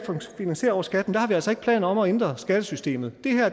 finansierer over skatten har vi altså ikke planer om at ændre skattesystemet